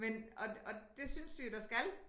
Men og og det synes vi jo der skal